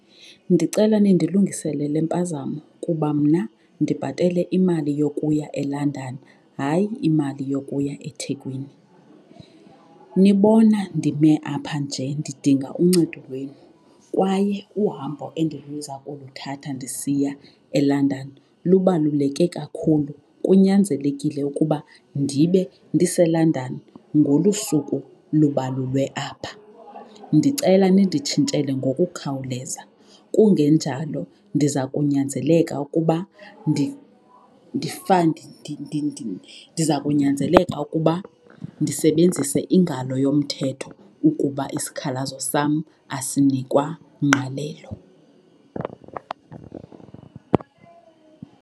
Ndicela nindilungisele le mpazamo kuba mna ndibhatele imali yokuya eLondon, hayi imali yokuya eThekwini. Nibona ndime apha nje ndidinga uncedo lwenu kwaye uhambo endiliza kuluthatha ndisiya eLondon lubaluleke kakhulu, kunyanzelekile ukuba ndibe ndiseLondon ngolu suku lubalulwe apha. Ndicela ninditshintshele ngokukhawuleza, kungenjalo ndiza kunyanzeleka ukuba ndiza kunyanzeleka ukuba ndisebenzise ingalo yomthetho ukuba isikhalazo sam asinikwa ngqalelo.